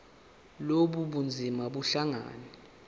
lobu bunzima buhlangane